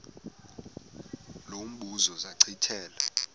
lo mbuzo zachithela